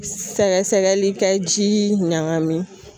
Sɛgɛsɛgɛli kɛ ji ɲagami